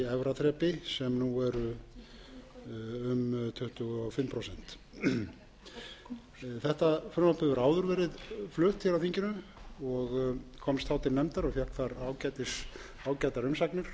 þrepi sem nú eru um tuttugu og fimm prósent þetta frumvarp hefur áður verið flutt hér á þinginu og komst þá til nefndar og fékk þar ágætar umsagnir